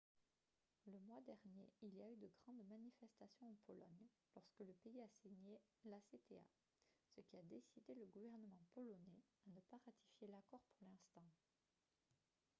le mois dernier il y a eu de grandes manifestations en pologne lorsque le pays a signé l'acta ce qui a décidé le gouvernement polonais à ne pas ratifier l'accord pour l'instant